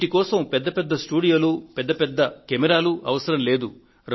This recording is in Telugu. వీటి కోసం పెద్ద పెద్ద స్టూడియోలు పెద్ద పెద్ద కెమెరాలు అవసరం లేదు